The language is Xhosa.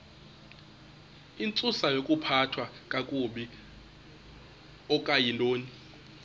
intsusayokuphathwa kakabi okuyintoni